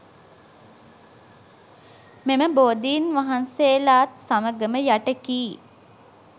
මෙම බෝධීන් වහන්සේලාත් සමඟම යටකී